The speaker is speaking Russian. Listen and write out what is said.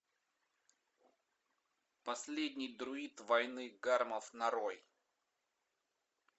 последний друид войны гармов нарой